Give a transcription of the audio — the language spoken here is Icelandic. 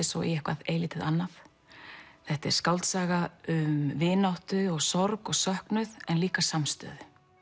svo í eitthvað eilítið annað þetta er skáldsaga um vináttu sorg og söknuð en líka samstöðu